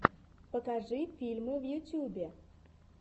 покажи фильмы в ютюбе